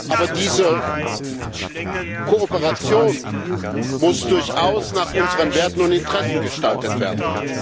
Aber diese Kooperation muss durchaus nach unseren Werten und Interessen gestaltet werden.